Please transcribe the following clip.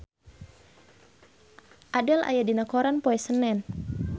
Adele aya dina koran poe Senen